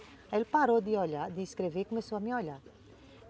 Aí ele parou de olhar, de escrever e começou a me olhar.